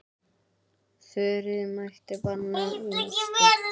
Þuríður mælti banna mér slíkt.